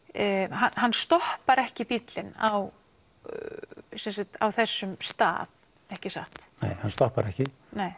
hann stoppar ekki bíllinn á á þessum stað ekki satt nei hann stoppar ekki